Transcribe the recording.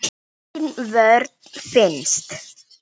Engin vörn finnst.